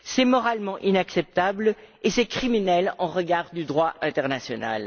C'est moralement inacceptable et c'est criminel au regard du droit international.